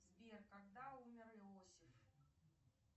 сбер когда умер иосиф